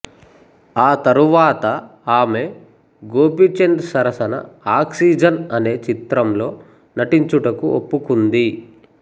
ఆ తరువాత ఆమె గోపీచంద్ సరసన ఆక్సిజన్ అనే చిత్రంలో నటించుటకు ఒప్పుకుంది